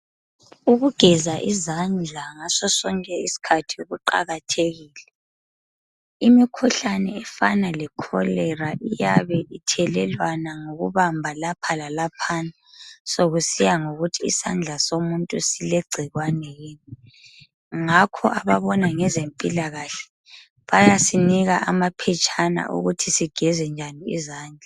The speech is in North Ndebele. Ukugeza izandla ngasosonke isikhathi kuqakathekile. Imikhuhlane efana lekolera iyabe ithelelwana ngokubamba lapha lalaphana sokusiya ngokuthi isandla somuntu silegcikwane yini. Ngakho ababona ngezempilakahle bayasinika amaphetshana okuthi sigeze njani izandla.